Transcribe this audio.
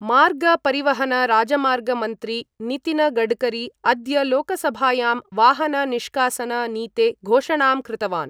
मार्ग परिवहन राजमार्ग मन्त्री नितिन गडकरी अद्य लोकसभायां ' वाहन निष्कासन नीते ' घोषणां कृतवान्